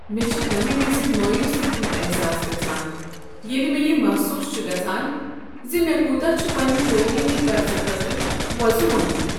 مےٚ چھ تمہ وز مایوٗسی ہنٛد احساس گژھان ییٚلہ مےٚ یہ محسوٗس چھ گژھان ز مےٚ کوتاہ چھُ پنٛنہ تٲلیمی قرضہٕ خٲطرٕ وۄزُم اوٚنمُت۔